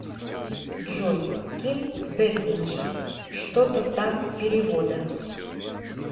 джой ким бэсинджер что то там перевода